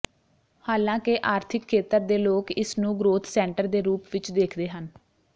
ਹਾਲਾਂਕਿ ਆਰਥਿਕ ਖੇਤਰ ਦੇ ਲੋਕ ਇਸ ਨੂੰ ਗ੍ਰੋਥ ਸੈਂਟਰ ਦੇ ਰੂਪ ਵਿਚ ਦੇਖਦੇ ਹਨ